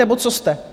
Nebo co jste?